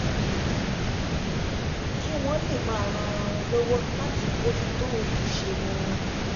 kí wọ́n lè máa ran ara wọn lọ́wọ́ láti bójú tó ojúṣe wọn